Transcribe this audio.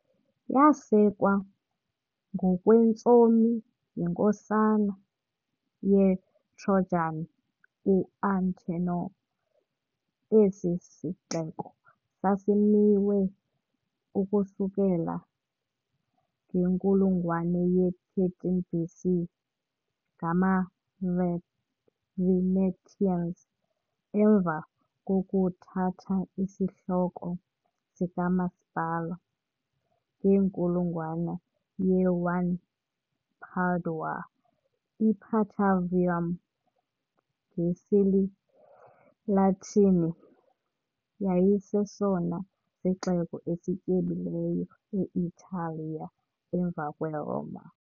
Yasekwa ngokwentsomi yiNkosana yeTrojan uAntenor, esi sixeko sasimiwe ukusukela ngenkulungwane ye-13 BC ngamavet Venetians . Emva kokuthatha isihloko sikamasipala, ngenkulungwane yoku-1 iPadua, "iPatavium" ngesiLatini, yayisesona sixeko esityebileyo e-Italiya emva kweRoma .